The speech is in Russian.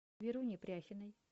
веруни пряхиной